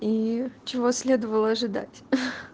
и чего следовало ожидать